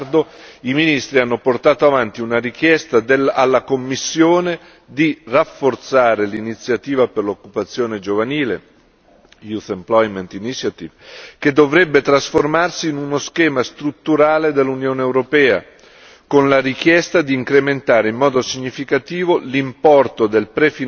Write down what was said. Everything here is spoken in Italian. Al riguardo, i ministri hanno portato avanti una richiesta alla Commissione di rafforzare l'iniziativa per l'occupazione giovanile, Youth Employment Initiative che dovrebbe trasformarsi in uno schema strutturale dell'Unione europea con la richiesta di incrementare in modo significativo l'importo del